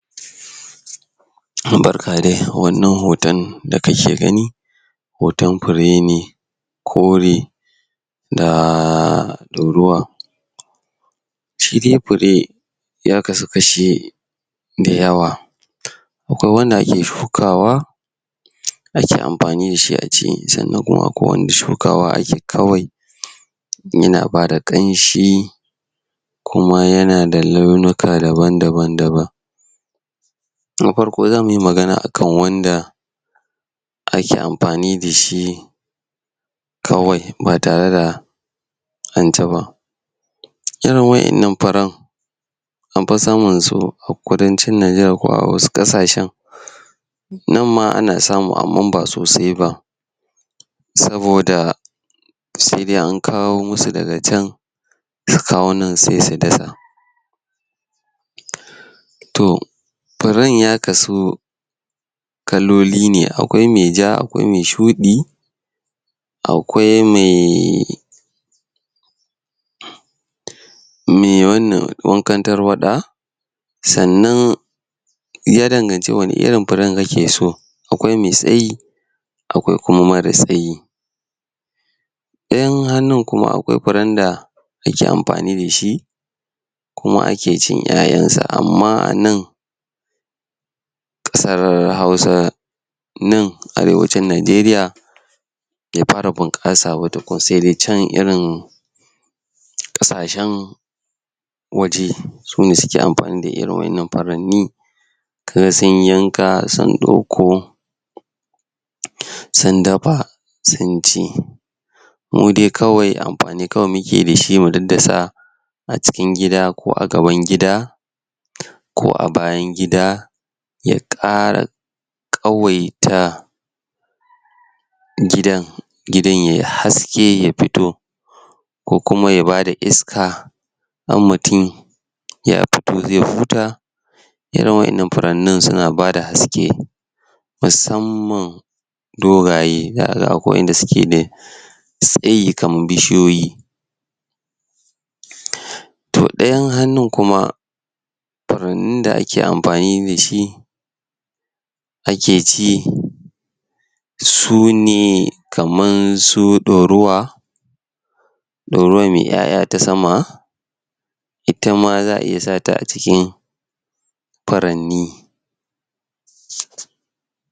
Barka dai wannan hoton da kake gani hoton fure ne kore na ɗaurawa shidai fure yakasu kashi da yawa akwai wanda ake shukawa ake amfani dashi aci sannan kuma akwai wanda ake sukawa ne kawai yana bada kamshi kuma yanada launika daban daban daban na farko zamuyi magana akan wanda ake amfani da shi kawai batare da anciba kira waɗannan furen anfi samansu kudancin Nigeria ko a wasu ƙasashan nanma anasamu amma ba sosaiba saboda sedai ankawo musu daga can su kawo nan se su dasa to furen ya kasu kaloli ne akwai me ja akwai me shuɗi akwai me me wannan, wanka tarwaɗa sannan yadan ganci wani irin furen kake so akwai mai tsayi akwai kuma mara tsayi ɗayan hannu kuma akwai furen wanda dake amfani dashi kuma ake cin ƴaƴasa amma anan ƙasar hausa nan arewacin Nijeriya be fara bunƙasaba tukun sedai can irin ƙasashen waje sune suke amfani da irin waƴannan furanni kaga sunyi yanka sun ɗauko sun dafa sunci mudai kawai amfani kawai mukeyi dashi mu daddasa acikin gida ko agaban gida ko a bayan gida ya ƙara ƙawaita gidan gidan yai haske yafito ko kuma yabada iska har mutumi ya fito ze huta irin waƴannan furanin suna bada haske musamman dogaye la'alla da akwai yanda suke dai tsayi kaman bishiyoyi to ɗayan hannun kuma furanin da ake amfani dashi ake ci su ne kaman su ɗaurawa ɗaurawan mai ƴaƴa ta sama itama za a iya sata aciki firanni